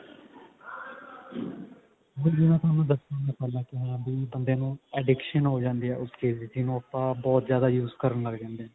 ਹੁਣ ਵੀ ਮੈਂ ਦੱਸਿਆ ਥੋਨੂੰ ਕਿਵੇ ਵੀ ਬੰਦੇ ਨੂੰ addiction ਹੋ ਜਾਂਦੀ ਹੈ ਉਸ ਚੀਜ਼ ਦੀ ਜਿਹਨੂੰ ਆਪਾਂ ਬਹੁਤ ਜਿਆਦਾ use ਕਰਨ ਲੱਗ ਜਾਂਦੇ ਨੇ